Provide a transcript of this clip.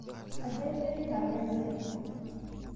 Aja imireita meza?